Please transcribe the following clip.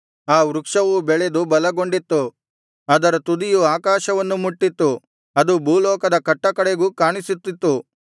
ಆ ವೃಕ್ಷವು ಬೆಳೆದು ಬಲಗೊಂಡಿತ್ತು ಅದರ ತುದಿಯು ಆಕಾಶವನ್ನು ಮುಟ್ಟಿತ್ತು ಅದು ಭೂಲೋಕದ ಕಟ್ಟಕಡೆಗೂ ಕಾಣಿಸುತ್ತಿತ್ತು